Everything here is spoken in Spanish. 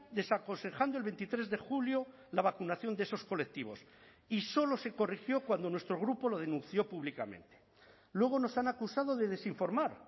desaconsejando el veintitrés de julio la vacunación de esos colectivos y solo se corrigió cuando nuestro grupo lo denunció públicamente luego nos han acusado de desinformar